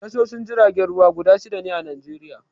Tashoshin jiragen ruwa guda shida ne a Najeriya.